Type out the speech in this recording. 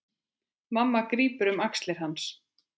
Mamma grípur um axlir hans.